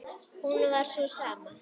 hún var sú sama.